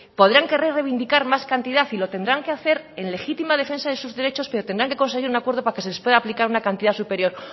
podrán querer reivindicar más cantidad y lo tendrán que hacer en legítima defensa de sus derechos pero tendrán que conseguir un acuerdo para que se les pueda aplicar una cantidad superior